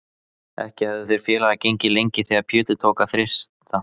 Ekki höfðu þeir félagar gengið lengi þegar Pétur tók að þyrsta.